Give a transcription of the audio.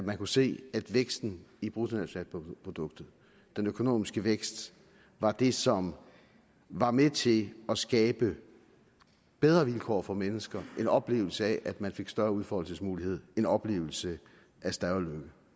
at man kunne se at væksten i bruttonationalproduktet den økonomiske vækst var det som var med til at skabe bedre vilkår for mennesker en oplevelse af større udfoldelsesmulighed en oplevelse af større lykke